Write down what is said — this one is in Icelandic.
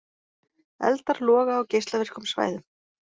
Eldar loga á geislavirkum svæðum